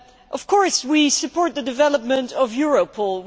Of course, we support the development of Europol.